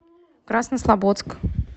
краснослободск